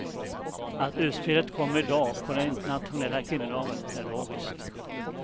Att utspelet kommer idag, på den internationella kvinnodagen, är logiskt.